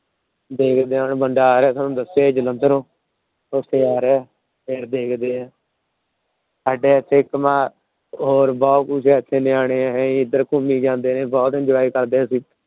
ਦੇਖਦੇ ਆ ਬੰਦਾ ਆ ਰਿਹਾ ਤੁਹਾਨੂੰ ਦੱਸਿਆ ਸੀ ਜਲੰਧਰੋਂ। ਉੱਥੋਂ ਆ ਰਿਹਾ ਫੇਰ ਦੇਖਦੇ ਆ। ਸਾਡਾ ਇੱਥੇ ਇੱਕ ਨਾ ਜਵਾਕ ਨਿਆਣੇ ਆ ਏਧਰ ਘੁੰਮੀ ਜਾਂਦੇ ਆ। ਬਹੁਤ Enjoy ਕਰਦੇ ਅਸੀਂ